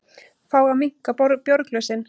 Fá að minnka bjórglösin